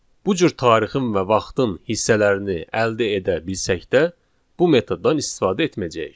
Bu cür tarixin və vaxtın hissələrini əldə edə bilsək də, bu metoddan istifadə etməyəcəyik.